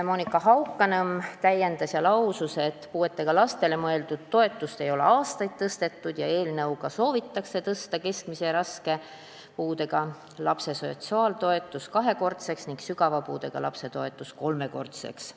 Monika Haukanõmm täiendas mind ja lausus, et puuetega lastele mõeldud toetust ei ole aastaid tõstetud, eelnõuga soovitakse tõsta keskmise ja raske puudega lapse sotsiaaltoetus kahekordseks ning sügava puudega lapse toetus kolmekordseks.